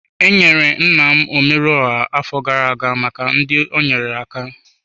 Enyere nna m omeruoha afọ gara aga maka ndị o nyeere aka.